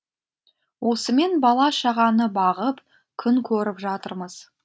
осымен бала шағаны бағып күн көріп жатырмыз